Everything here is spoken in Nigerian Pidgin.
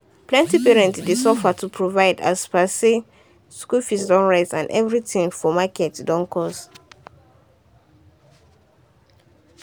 plenty parent dey suffer to provide as per say school fee don rise and everything for market don cost.